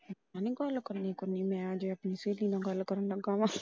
ਮੈ ਨਹੀਂ ਗੱਲ ਕਰਨੀ ਕੁਰਨੀ ਮੈ ਗੱਲ ਕਰਨ ਲੱਗਾ ਆ।